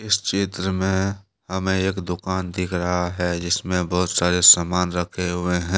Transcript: इस चित्र में हमे एक दुकान दिख रहा है जिसमें बहुत सारे सामान रखे हुए है।